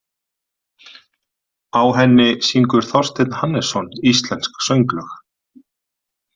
Á henni syngur Þorsteinn Hannesson íslensk sönglög.